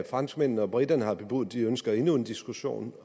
franskmændene og briterne har bebudet at de ønsker endnu en diskussion